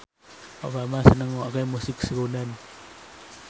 Obama seneng ngrungokne musik srunen